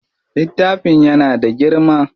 Littafin yana da girma.